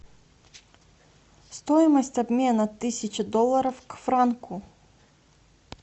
стоимость обмена тысячи долларов к франку